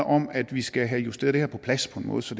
om at vi skal have justeret det her på plads på en måde så